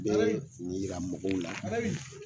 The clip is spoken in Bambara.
N bɛ nin yira mɔgɔw la